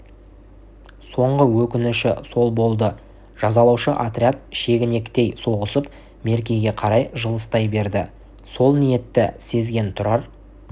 соңғы өкініші сол болды жазалаушы отряд шегіншектей соғысып меркеге қарай жылыстай берді сол ниетті сезген тұрар